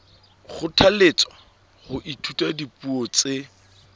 kgothalletswa ho ithuta dipuo tse